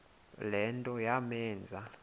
le nto yamenza